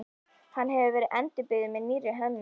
Hann hefur nú verið endurbyggður með nýrri hönnun.